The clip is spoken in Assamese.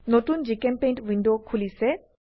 নতুন জিচেম্পেইণ্ট উইন্ডো খোলিছে